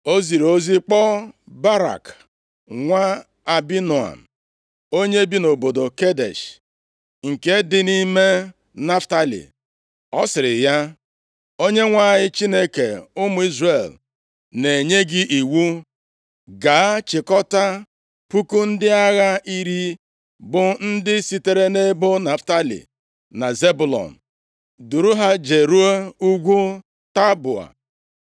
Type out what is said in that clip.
O ziri ozi kpọọ Barak, nwa Abinoam, onye bi nʼobodo Kedesh, nke dị nʼime Naftalị, ọ sịrị ya, “ Onyenwe anyị Chineke ụmụ Izrel na-enye gị iwu, ‘Gaa chịkọtaa puku ndị agha iri bụ ndị sitere nʼebo Naftalị na Zebụlọn, duru ha jeruo ugwu Taboa.